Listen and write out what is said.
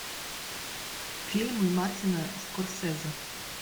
фильмы мартина скорсезе